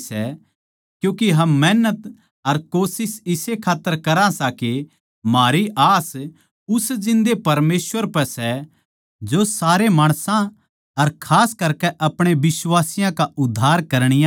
क्यूँके हम मेहनत अर कोशिश इस्से खात्तर करा सां के म्हारी आस उस जिन्दे परमेसवर पै सै जो सारे माणसां अर खास करकै अपणे बिश्वासियाँ का उद्धार करणीया सै